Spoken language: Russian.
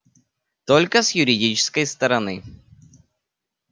только с юридической стороны